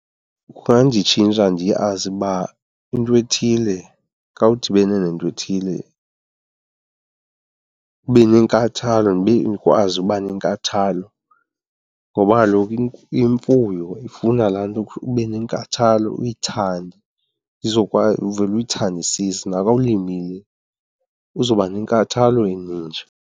Kunganditshintsha ndiyazi uba into ethile xa udibene nentwethile ube nenkathalo, ndikwazi uba nenkathalo. Ngoba kaloku imfuyo ifuna laa nto ube nenkathalo, uyithande uzokwazi uvele uyithandisise, naka ulimile uzawuba nenkathalo enintshi.